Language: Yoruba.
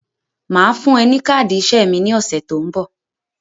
Màá fún ẹ ní káàdì iṣẹ́ mi ní ọ̀sẹ̀ tó ń bọ̀.